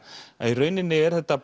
að í rauninni er þetta